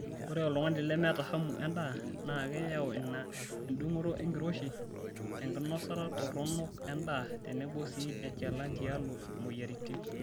Ore oltungani lemeeta hamu endaa na keyau ina endung'oto enkiroshi, enkinosata toronok endaa tenebo sii enchalan tialo moyiaritin.